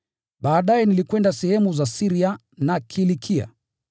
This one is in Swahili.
Baadaye nilikwenda sehemu za Syria na Kilikia.